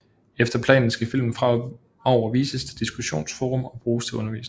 Efter planen skal filmen fremover vises til diskussionsforum og bruges til undervisning